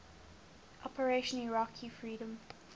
operation iraqi freedom